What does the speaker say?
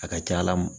A ka ca ala fɛ